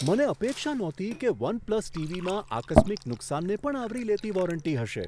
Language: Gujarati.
મને અપેક્ષા નહોતી કે વન પ્લસ ટીવીમાં આકસ્મિક નુકસાનને પણ આવરી લેતી વોરંટી હશે.